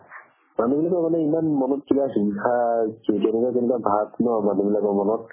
মানুহ বিলাকৰ মানে ইমান মনত কিবা ঈৰ্ষা কেনেকুৱা কেনেকুৱা ভাব ন মানুহ বিলাকৰ মনত